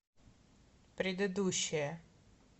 предыдущая